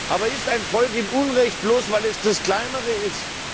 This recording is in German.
Aber ist ein Volk im Unrecht, bloß weil es das kleinere ist?